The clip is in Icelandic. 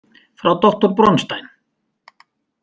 Frá doktor Bronstein?